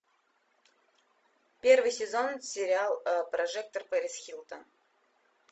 первый сезон сериал прожектор пэрис хилтон